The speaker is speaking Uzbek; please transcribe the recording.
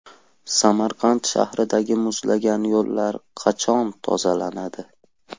Samarqand shahridagi muzlagan yo‘llar qachon tozalanadi?.